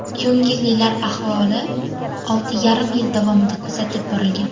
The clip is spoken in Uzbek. Ko‘ngillilar ahvoli olti yarim yil davomida kuzatib borilgan.